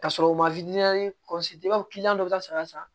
Ka sɔrɔ u ma i b'a fɔ dɔ bɛ ka saga san